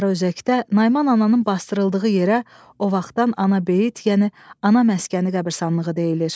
Sarıözəkdə Nayman ananın basdırıldığı yerə o vaxtdan anabeyt, yəni ana məskəni qəbristanlığı deyilir.